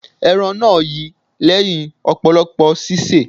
Ẹran náà yi lẹ́hìn ọ̀pọ̀lọpọ̀ sísè.